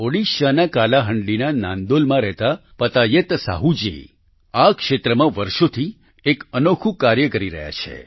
ઓડિશાના કાલાહાંડીના નાંદોલમાં રહેતા પતાયત સાહૂજી આ ક્ષેત્રમાં વર્ષોથી એક અનોખું કાર્ય કરી રહ્યા છે